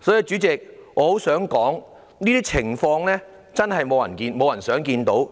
主席，我很想說，這些情況真是沒有人想看到。